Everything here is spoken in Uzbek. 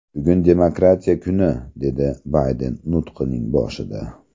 Bugun demokratiya kuni”, – dedi Bayden nutqining boshida.